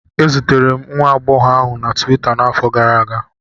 E zutere m nwa agbọghọ ahụ na Tuweeta n'afọ gara aga